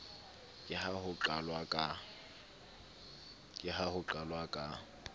ke ha ho qalwa ka